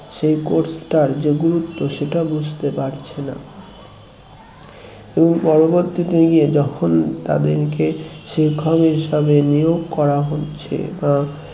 সেই course যে গুরুত্ব সেটা বুঝতে পারছেনা এবং পরবর্তীতে গিয়ে যখন তাদেরকে শিক্ষক হিসাবে নিয়োগ করা হচ্ছে